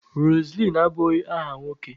Roseline abụghị aha nwoke